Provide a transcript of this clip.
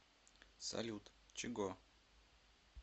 салют чего